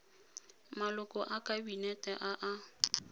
maloko a kabinete a a